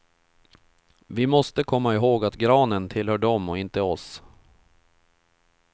Vi måste komma ihåg att granen tillhör dem och inte oss.